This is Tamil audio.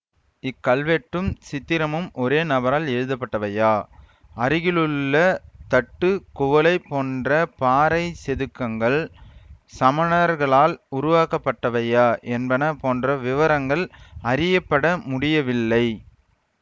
இக்கல்வெட்டும் சித்திரமும் ஒரே நபரால் எழுதப்பட்டவையா அருகிலுள்ள தட்டு குவளை போன்ற பாறை செதுக்கங்கள் சமணர்களால் உருவாக்கப்பட்டவையா என்பன போன்ற விவரங்கள் அறியப்படமுடியவில்லை